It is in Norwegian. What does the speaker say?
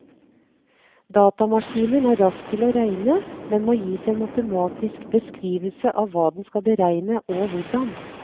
Datamaskinen er rask til å regne, men må gis en matematisk beskrivelse av hva den skal beregne og hvordan.